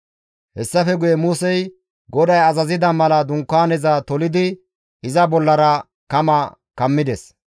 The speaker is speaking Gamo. Hessafe guye Musey GODAY azazida mala dunkaaneza tolidi iza bollara kama kammides.